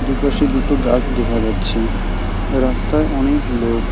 দুপাশে দুটো গাস দেখা যাচ্ছে রাস্তায় অনেক লোক।